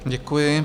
Děkuji.